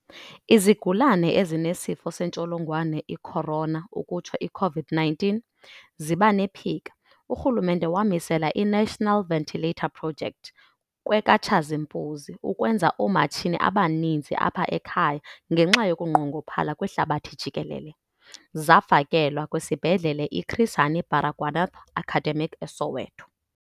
Izigulane ezinesifo sentsholongwane i-corona ukutsho i-COVID-19 ziba nephika. Urhulumente wamisela i-National Ventilator Project kwekaTshazimpuzi, ukwenza oomatshini abaninzi apha ekhaya ngenxa yokunqongophala kwihlabathi jikelele. Zafakelwa kwiSibhedlele i-Chris Hani Baragwanath Academic eSoweto.